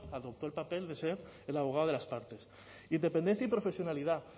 adoptó el papel de ser el abogado de las partes independencia y profesionalidad